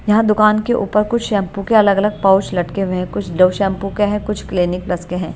यहाँ दुकान के ऊपर कुछ शैंपू के अलग-अलग पोउच लटके हुए हैं कुछ डव शैंपू के हैं कुछ क्लीनिक प्लस के हैं।